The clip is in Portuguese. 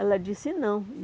Ela disse, não.